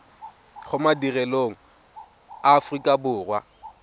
go madirelo a aforika borwa